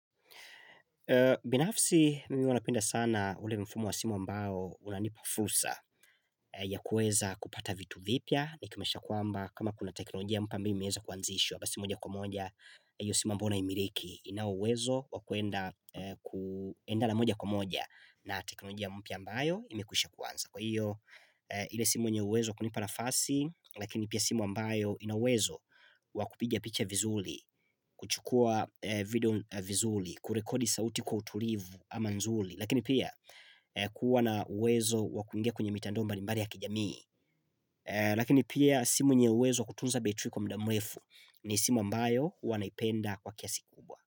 Binafsi mimi huwa napenda sana ule mfumo wa simu ambao unanipa fursa ya kuweza kupata vitu vipya nikimaanisha kwamba kama kuna teknolojia ambayo imeweza kuanzishwa basi moja kwa moja Iyo simu ambayo naimiriki ina uwezo wa kuenda kuenda na moja kwa moja na teknolojia mpya ambayo imekusha kwanza kwa hiyo ile simu yenye uwezo kunipa nafasi lakini pia simu ambayo ina uwezo wa kupiga picha vizuri kuchukua video vizuri kurekodi sauti kwa utulivu ama nzuri Lakini pia kuwa na uwezo wa kuingia kwenye mitandao mbali mbali ya kijamii Lakini pia simu yenye uwezo wa kutunza betri kwa muda mrefu ni simu ambayo huwa naipenda kwa kiasi kubwa.